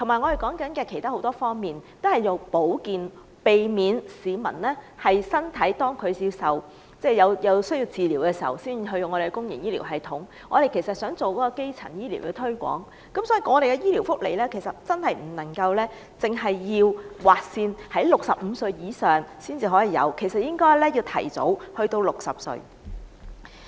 還有很多其他方面，現時都提倡保健，避免市民身體需要治療時才使用公營醫療系統，我們想做好基層醫療推廣，所以，醫療福利不能劃線規定65歲以上人士才可享用，而應該提前至60歲。